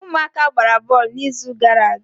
ụmụaka gbara bọọlụ n'izu gara aga